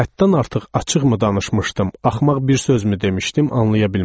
Həddən artıq açıq mı danışmışdım, axmaq bir sözmü demişdim, anlaya bilmədim.